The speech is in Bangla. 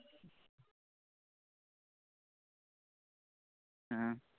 হম